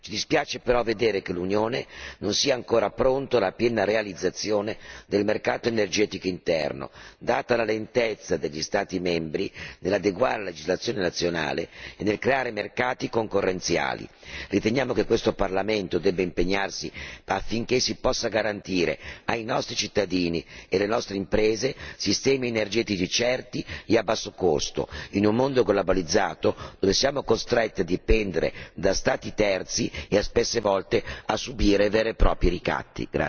Ci dispiace però constatare che l'Unione non sia ancora pronta alla piena realizzazione del mercato energetico interno, data la lentezza degli Stati membri nell'adeguare la legislazione nazionale e nel creare mercati concorrenziali. Riteniamo che questo Parlamento debba impegnarsi affinché si possano garantire ai nostri cittadini e alle nostre imprese sistemi energetici certi e a basso costo, in un mondo globalizzato dove siamo costretti a dipendere da Stati terzi e spesse volte a subire veri e propri ricatti.